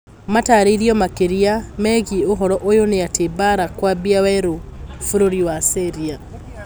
Matarĩrio makĩria megiĩ ũhoro ũyũ nĩ atĩ mbara kwambia werũ bũrũri wa syria